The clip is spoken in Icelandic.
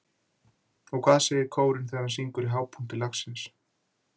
Og hvað segir kórinn þegar hann syngur í hápunkti lagsins?